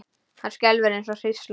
Hann skelfur eins og hrísla.